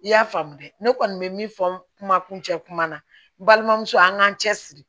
I y'a faamu dɛ ne kɔni bɛ min fɔ n kuma kun cɛ kuma na n balimamuso an k'an cɛ siri